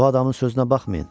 Bu adamın sözünə baxmayın.